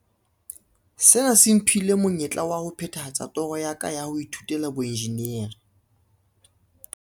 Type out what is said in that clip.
Sena se mphile monyetla wa ho phethahatsa toro ya ka ya ho ithutela boenjinere.